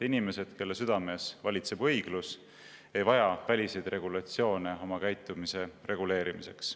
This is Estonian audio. Inimesed, kelle südames valitseb õiglus, ei vaja väliseid regulatsioone oma käitumise reguleerimiseks.